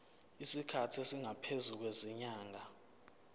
isikhathi esingaphezulu kwezinyanga